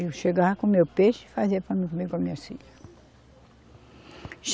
Eu chegava, comia o peixe e fazia para mim comer com as minhas filhas.